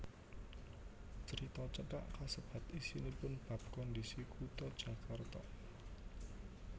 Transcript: Crita cekak kasebat isinipun bab kondhisi Kutha Jakarta